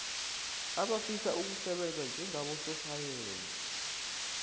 abafisa ukusebenza njengabososayensi